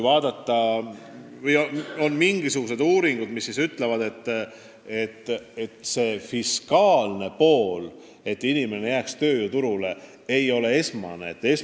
On tehtud uuringuid, mille kohaselt esmane ajend tööle edasi jääda ei ole fiskaalne tegur.